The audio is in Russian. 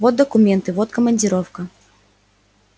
вот документы вот командировка